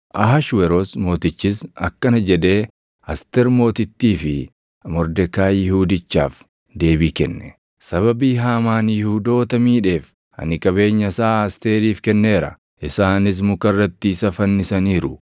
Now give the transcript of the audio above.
Ahashweroos Mootichis akkana jedhee Asteer Mootittii fi Mordekaayi Yihuudichaaf deebii kenne; “Sababii Haamaan Yihuudoota miidheef ani qabeenya isaa Asteeriif kenneera; isaanis muka irratti isa fannisaniiru.